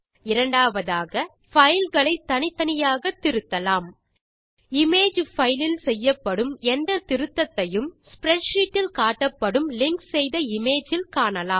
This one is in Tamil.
இரண்டாவதாக fileகளை தனித்தனியாக திருத்தலாம் இமேஜ் பைல் இல் செய்யும் எந்த திருத்தத்தையும் ஸ்ப்ரெட்ஷீட் இல் காட்டப்படும் லிங்க் செய்த இமேஜ் இல் காணலாம்